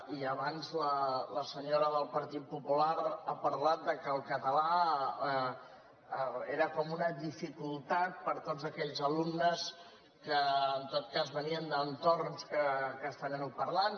i abans la senyora del partit popular ha parlat del fet que el català era com una dificultat per a tots aquells alumnes que en tot cas venien d’entorns castellanoparlants